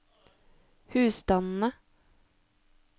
husstandene